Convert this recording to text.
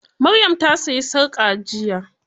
Maryam ta sayi sarƙa jiya.